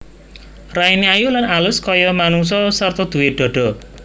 Raine ayu lan alus kaya manungsa sarta duwé dhadha